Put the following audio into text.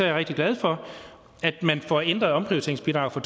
er rigtig glad for at man får ændret omprioriteringsbidraget fra